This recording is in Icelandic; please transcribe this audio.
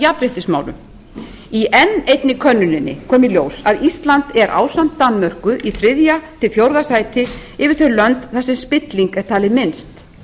jafnréttismálum í enn einni könnuninni kom í ljós að ísland er ásamt danmörku í fjórða sæti þar sem spilling er talin minnst